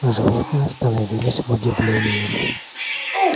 животные остановились в удивлении